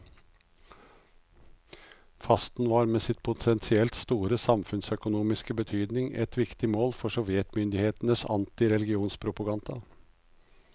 Fasten var med sin potensielt store samfunnsøkonomiske betydning et viktig mål for sovjetmyndighetenes antireligionspropaganda.